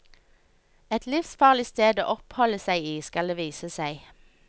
Et livsfarlig sted å oppholde seg i, skal det vise seg.